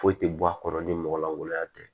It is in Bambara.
Foyi tɛ bɔ a kɔnɔ ni mɔgɔ lankolonya tɛ